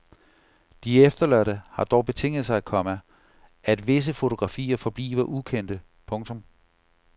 De efterladte har dog betinget sig, komma at visse fotografier forbliver ukendte. punktum